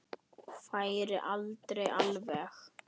Færi aldrei alveg.